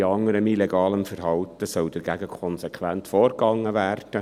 Wie bei anderem illegalem Verhalten, soll konsequent dagegen vorgegangen werden.